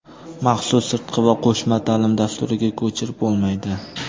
maxsus sirtqi va qo‘shma taʼlim dasturiga ko‘chirib bo‘lmaydi.